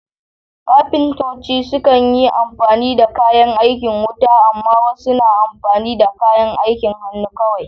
Kafintoci sukan yi amfani da kayan aikin wuta, amma wasu na amfani da kayan aikin hannu kawai.